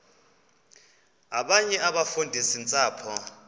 abanye abafundisi ntshapo